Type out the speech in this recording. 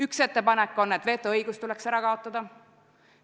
Üks ettepanek on, et vetoõigus tuleks ära kaotada.